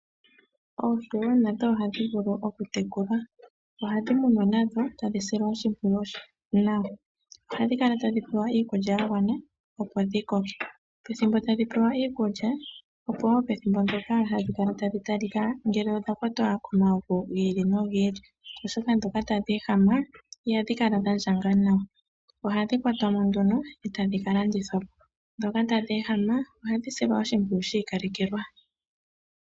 Oohi wo nadho ohadhi vulu okutekulwa. Ohadhi munwa nadho tadhi silwa oshimpwiyu nawa. Ohadhi kala tadhi pewa iikulya ya gwana, opo dhi koke. Pethimbo tadhi pewa iikulya, opo wo pethimbo ndyoka hadhi kala tadhi talika ngele odha kwatwa komavu gi ili nogi ili, oshoka ndhoka tadhi ehama, ihadhi kala dha ndjanga nawa. Ohadhi kwatwa mo nduno e tadhi ka landithwa po, ndhoka tadhi ehama ohadhi silwa oshimpwiyu shi ikalekelwa.